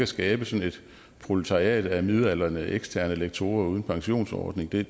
skabe sådan et proletariat af midaldrende eksterne lektorer uden pensionsordning det er